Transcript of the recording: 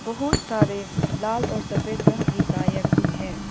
बहुत सारे लाल और सफेद रंग की टायर भी है।